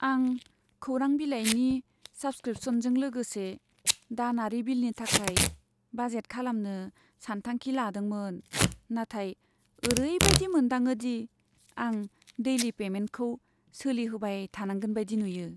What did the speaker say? आं खौरां बिलाइनि साब्सक्रिपसनजों लोगोसे दानारि बिलनि थाखाय बाजेट खालामनो सानथांखि खालामदोंमोन, नाथाय ओरैबायदि मोनदाङोदि आं डैलि पैमेन्टखौ सोलिहोबाय थानांगोन बायदि नुयो।